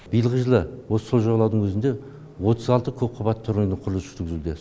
биылғы жылы осы сол жағалаудың өзінде отыз алты көпқабатты тұрғын үйдің құрылысы жүргізілуде